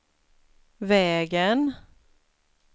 vägen